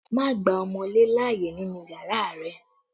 Don't allow wall-gecko in your room!